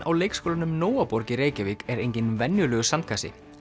á leikskólanum Nóaborg í Reykjavík er enginn venjulegur sandkassi